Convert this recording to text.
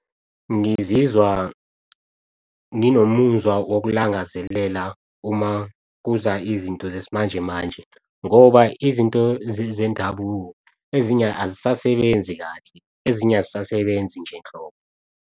Ngizizwa nginomuzwa wokulangazelela uma kuza izinto zesimanjemanje ngoba izinto zendabuko ezinye azisasebenzi kahle, ezinye azisasebenzi nje nhlobo.